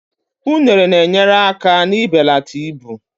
unere na-enyere aka n'ibelata ibu